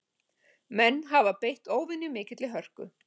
Menn hafi beitt óvenju mikilli hörku